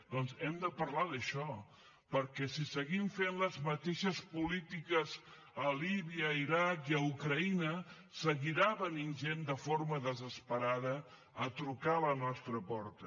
doncs hem de parlar d’això perquè si seguim fent les mateixes polítiques a líbia a l’iraq i a ucraïna seguirà venint gent de forma desesperada a trucar a la nostra porta